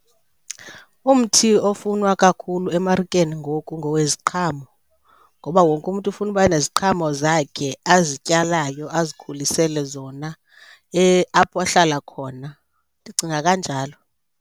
Umthi ofunwa kakhulu emarikeni ngoku ngoweziqhamo ngoba wonke umntu ufuna ukuba neziqhamo zakhe azityalayo azikhulisele zona apho ahlala khona, ndicinga kanjalo.